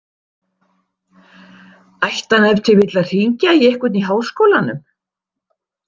Ætti hann ef til vill að hringja í einhvern í Háskólanum?